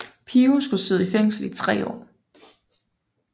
Pio skulle sidde i fængsel i 3 år